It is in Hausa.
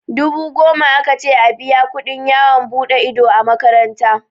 Dubu goma aka ce a biya kuɗin yawon buɗe ido a makaranta.